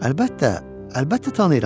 Əlbəttə, əlbəttə tanıyıram.